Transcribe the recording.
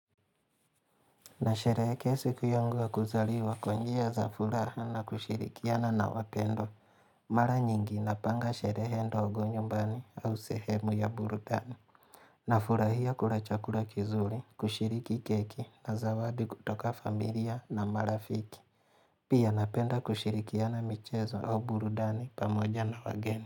Nasherehekea siku yangu ya kuzaliwa kwa njia za furaha na kushirikiana na wapendwa. Mara nyingi napanga sherehe ndogo nyumbani au sehemu ya burudani. Nafurahia kula chakula kizuri, kushiriki keki na zawadi kutoka familia na marafiki. Pia napenda kushirikiana michezo au burudani pamoja na wageni.